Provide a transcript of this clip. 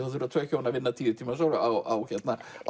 þurfa hjón að vinna tíu tíma á